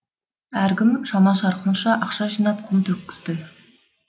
әркім шама шарқынша ақша жинап құм төккізді